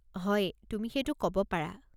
হয়, তুমি সেইটো ক'ব পাৰা।